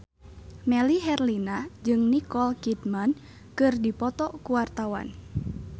Melly Herlina jeung Nicole Kidman keur dipoto ku wartawan